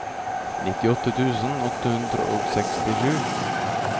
nittiåtte tusen åtte hundre og sekstisju